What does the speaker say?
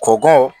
Kɔbɔ